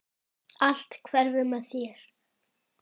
Allt hverfur með þér.